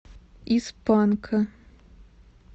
из панка